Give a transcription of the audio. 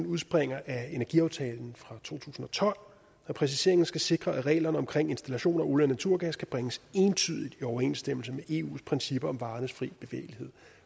udspringer af energiaftalen fra to tusind og tolv og præciseringen skal sikre at reglerne om installation af olie og naturgas kan bringes entydigt i overensstemmelse med eus principper om varernes fri bevægelighed